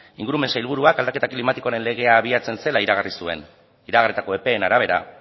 ingurumen sailburuak aldaketa klimatikoaren legea abiatzen zela iragarri zuen iragarritako epeen arabera